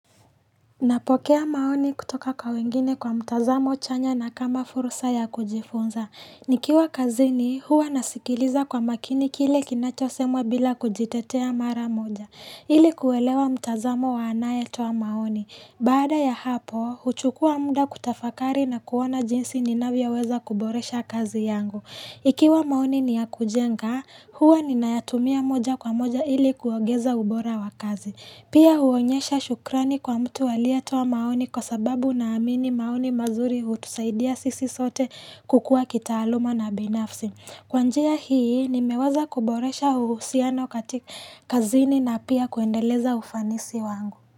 Napokea maoni kutoka kwa wengine kwa mtazamo chanya na kama fursa ya kujifunza. Nikiwa kazini, huwa nasikiliza kwa makini kile kinachosemwa bila kujitetea mara moja. Ili kuelewa mtazamo wa anayetoa maoni. Baada ya hapo, huchukua muda kutafakari na kuona jinsi ninavyoweza kuboresha kazi yangu. Ikiwa maoni ni ya kujenga, huwa ninayatumia moja kwa moja ili kuongeza ubora wa kazi. Pia huonyesha shukrani kwa mtu aliyetoa maoni kwa sababu naamini maoni mazuri hutusaidia sisi sote kukua kitaaluma na binafsi. Kwa njia hii nimeweza kuboresha uhusiano katika kazini na pia kuendeleza ufanisi wangu.